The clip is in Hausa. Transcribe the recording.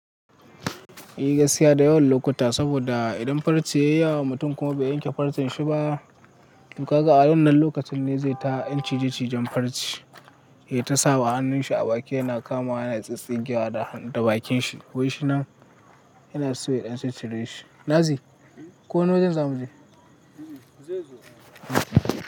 Gaskiya da yawan lokuta saboda idan farce ya yi wa mutum kuma bai yanke farcen shi ba, toh kaga a wannan lokacin ne zai ta ɗan ciji cijen farce, ya ta sa wa hannun shi a baki yana kama, yana tsintsingiwa da bakin shi. Wai shi nan yana so ya ɗan cir shire shi Nazi, ko wani wajen za mu je?